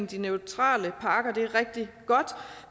de neutrale pakker er rigtig godt